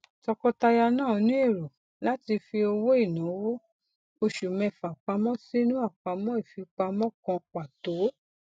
tọkọtaya náà ní èrò láti fi owó ináwó oṣù mẹfà pamọ sínú àpamọ ìfipamọ kan pàtó